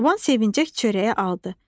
Çoban sevincək çörəyi aldı.